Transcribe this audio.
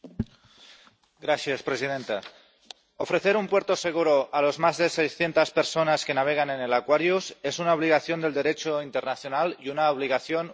Señora presidenta, ofrecer un puerto seguro a las más de 600 personas que navegan en el Aquarius es una obligación del Derecho internacional y una obligación humanitaria.